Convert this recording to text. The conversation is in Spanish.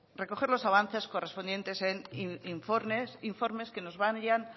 recoger los avances correspondientes en informes que nos vayan